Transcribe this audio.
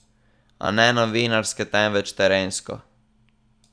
A ne novinarske, temveč trenersko.